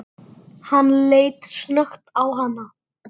Hann leit snöggt á hana.